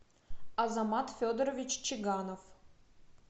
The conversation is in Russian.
азамат федорович чиганов